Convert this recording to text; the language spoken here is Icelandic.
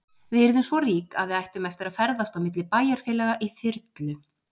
Við yrðum svo rík að við ættum eftir að ferðast á milli bæjarfélaga í þyrlu.